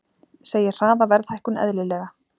Segir hraða verðhækkun eðlilega